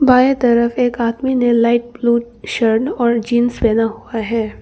बाएं तरफ एक आदमी ने लाइट ब्लू शर्न और जींस पहना हुआ है।